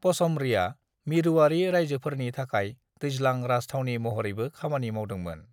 पचमढ़ीआ मिरुआरि रायजोफरनि थाखाय दैज्लां राज थावनि महरैबो खामानि मावदोंमोन।